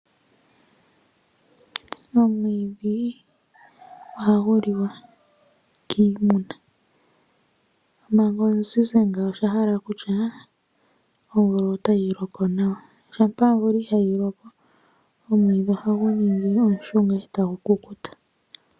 Omwiidhi ohagu liwa kiimuna . Shampa omwiidhi gwaziza ngawo oshahala okutya omvula otayi loko nawa ,shampa omvula itayi loko omwiidhi ohagu ningi omushunga.